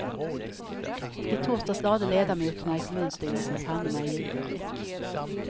I torsdags lade ledamoterna i kommunstyrelsen pannorna i djupa veck.